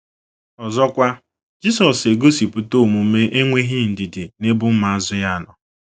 Ọzọkwa, Jisọs egosipụta omume enweghị ndidi n’ebe ụmụazụ ya nọ.